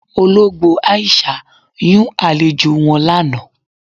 Ọlọgbo Aisha yún alẹ̀jọ wọn lána.